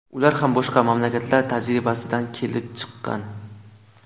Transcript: Ular ham boshqa mamlakatlar tajribasidan kelib chiqqan.